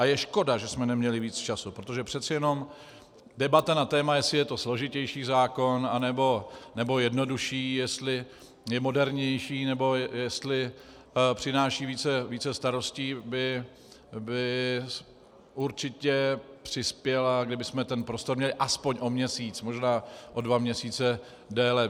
A je škoda, že jsme neměli víc času, protože přece jenom debata na téma, jestli je to složitější zákon, nebo jednodušší, jestli je modernější, nebo jestli přináší více starostí, by určitě přispěla, kdybychom ten prostor měli aspoň o měsíc, možná o dva měsíce déle.